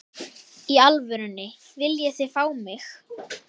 Í alvörunni, viljið þið fá mig?